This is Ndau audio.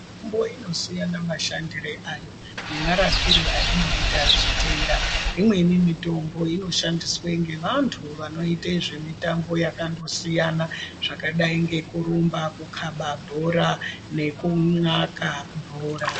Mitombo inosiyana mashandire ayo nemarapire ainoita zvitenda. Imweni mitombo inoshandiswe ngevantu vanoite zvemitambo yakandosiyana zvakadai ngekurumba, kukhaba bhora nekunxaka bhora.